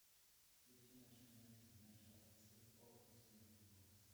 включи наши матери наши отцы окко смарт бокс